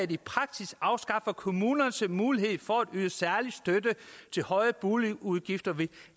i praksis afskaffer kommunernes mulighed for at yde særlig støtte til høje boligudgifter ved